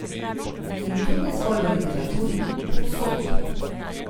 In to ne zgolj v literaturi, povsod.